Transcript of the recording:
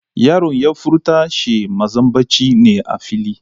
Yaron ya furta she mazambaci ne a fili.